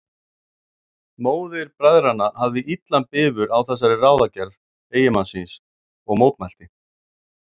Móðir bræðranna hafði illan bifur á þessari ráðagerð eiginmanns síns og mótmælti.